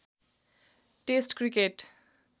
test cricket